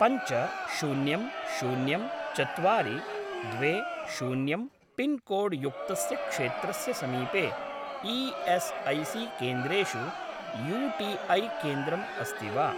पञ्च शून्यं शून्यं चत्वारि द्वे शून्यं पिन्कोड् युक्तस्य क्षेत्रस्य समीपे ई.एस्.ऐ.सी.केन्द्रेषु यू.टी.ऐ. केन्द्रम् अस्ति वा?